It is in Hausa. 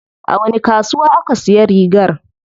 A wani kasuwa aka siya rigar?